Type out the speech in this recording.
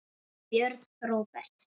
Björn Róbert.